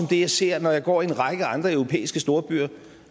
det jeg ser når jeg går i en række andre europæiske storbyer